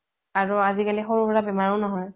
আৰু আজিকালি সৰু সৰা বেমাৰও নহয়